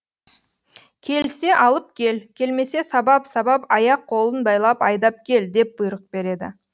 келсе алып кел келмесе сабап сабап аяқ қолын байлап айдап кел деп бұйрық береді